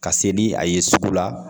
Ka se ni a ye sugu la